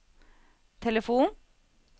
telefon